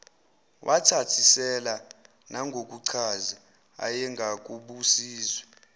wathasisela nangokuchaza ayengakubuziwe